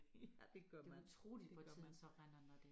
Ja det gør man det gør man